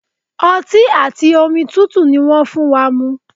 Ọti ati omi tutu ni wọn fun wa mu